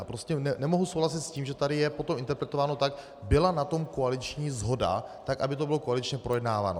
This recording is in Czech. A prostě nemohu souhlasit s tím, že tady je potom interpretováno tak, byla na tom koaliční shoda tak, aby to bylo koaličně projednáváno.